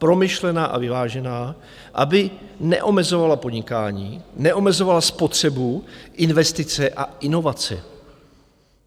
Promyšlená a vyvážená, aby neomezovala podnikání, neomezovala spotřebu, investice a inovace.